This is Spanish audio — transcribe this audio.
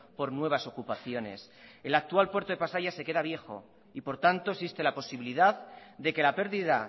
por nuevas ocupaciones el actual puerto de pasaia se queda viejo y por tanto existe la posibilidad de que la pérdida